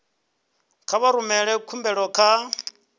kha vha rumele khumbelo kha